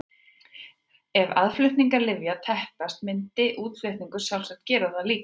Ef aðflutningur lyfja teppist myndi útflutningur sjálfsagt gera það líka.